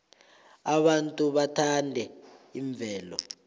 abantu bathanda imvelo